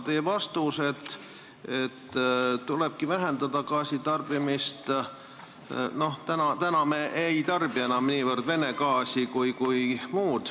Teie vastus, et tulebki vähendada gaasi tarbimist, selle peale ütlen, et praegu me ei tarbi enam niivõrd Venemaa gaasi kui muud.